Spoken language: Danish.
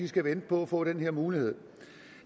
skal vente på at få den her mulighed